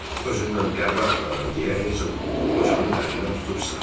Özümdən qəbrə apararam deyə Hersoq qocanın əlindən tutub sıxdı.